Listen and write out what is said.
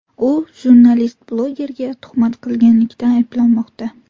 U jurnalist-blogerga tuhmat qilganlikda ayblanmoqda.